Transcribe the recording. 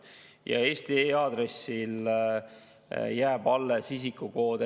Ja eesti.ee aadressil jääb alles isikukood.